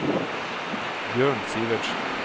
Bjørn Sivertsen